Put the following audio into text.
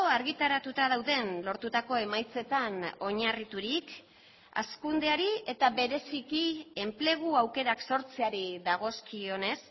argitaratuta dauden lortutako emaitzetan oinarriturik hazkundeari eta bereziki enplegu aukerak sortzeari dagozkionez